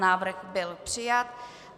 Návrh byl přijat.